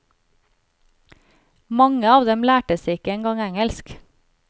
Mange av dem lærte seg ikke en gang engelsk.